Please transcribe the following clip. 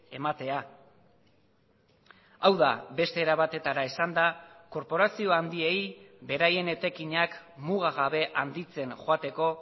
ematea hau da beste era batetara esanda korporazio handiei beraien etekinak mugagabe handitzen joateko